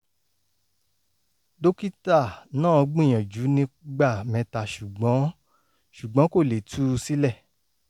dókítà náàgbìyànjú nígbà mẹ́ta ṣùgbọ́n ṣùgbọ́n kò lè tú u sílẹ̀